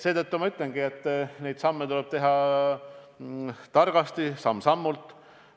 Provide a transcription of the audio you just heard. Seetõttu ma ütlengi, et neid samme tuleb teha targasti, samm-sammult.